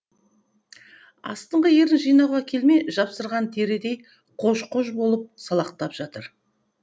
астыңғы ерін жинауға келмей жапсырған терідей қож қож болып салақтап жатыр